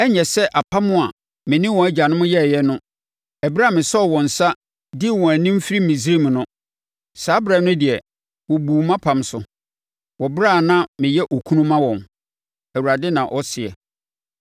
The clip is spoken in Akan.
Ɛrenyɛ sɛ apam a me ne wɔn agyanom yɛeɛ no ɛberɛ a mesɔɔ wɔn nsa, dii wɔn anim firii Misraim no. Saa ɛberɛ no deɛ, wɔbuu mʼapam so, wɔ ɛberɛ a na meyɛ okunu ma wɔn,” Awurade na ɔseɛ.